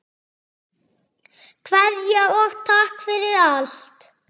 Kveðja og takk fyrir allt.